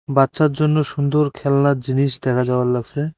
বাচ্চার জন্য সুন্দর খেলনার জিনিস দেখা যাওয়ার লাগসে।